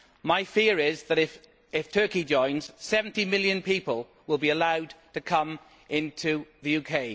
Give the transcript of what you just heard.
My fear is that, if Turkey joins, 70 million people will be allowed to come into the UK.